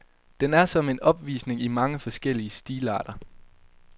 Den er som en opvisning i mange forskellige stilarter.